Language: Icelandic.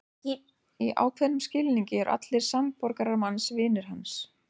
Í ákveðnum skilningi eru allir samborgarar manns vinir hans.